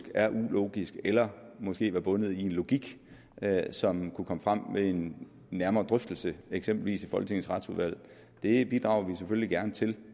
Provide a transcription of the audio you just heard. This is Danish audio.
er ulogisk eller måske er bundet i en logik som kunne komme frem ved en nærmere drøftelse eksempelvis i folketingets retsudvalg det bidrager vi selvfølgelig gerne til